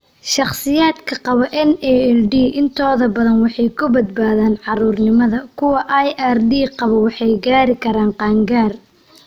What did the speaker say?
Shakhsiyaadka qaba NALD intooda badan waxay ku badbaadaan caruurnimada, kuwa IRD qaba waxay gaari karaan qaangaar.